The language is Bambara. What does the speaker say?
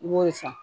I b'o de san